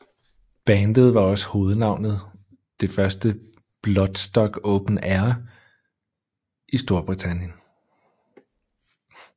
Bandet var også hovednavnet det første Bloodstock Open Air i Strorbritannien